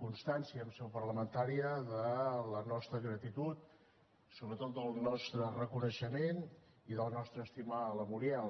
constància en seu parlamentària de la nostra gratitud sobretot del nostre reconeixement i de la nostra estima a la muriel